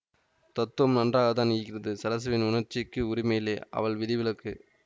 தத்துவம் நன்றாகத்தான் இருக்கிறது ஸரஸுவின் உணர்ச்சிக்கு உரிமையில்லை அவள் விதிவிலக்கு